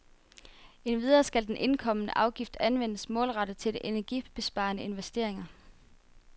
Endvidere skal den indkomne afgift anvendes målrettet til energibesparende investeringer.